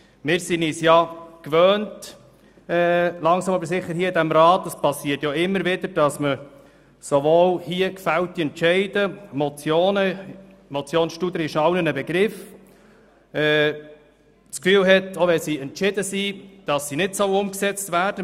Wir sind uns langsam aber sicher in diesem Rat gewöhnt – und es passiert immer wieder –, dass man bei gefällten Entscheiden wie der überwiesenen Motion Studer das Gefühl hat, diese brauchten nicht umgesetzt zu werden.